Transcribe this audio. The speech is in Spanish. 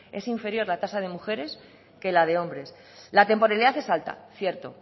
es inferior la tasa de mujeres que la de hombres la temporalidad es alta cierto